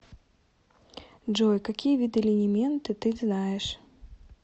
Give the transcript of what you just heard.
джой какие виды линименты ты знаешь